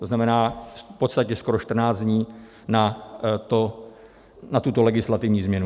- To znamená v podstatě skoro 14 dní na tuto legislativní změnu.